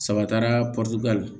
Saba taara la